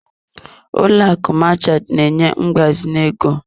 Ụlọ akụ Marchant na-enye mgbazinye ego.